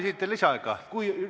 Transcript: Kas soovite lisaaega?